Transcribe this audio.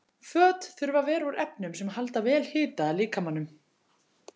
Föt þurfa að vera úr efnum sem halda vel hita að líkamanum.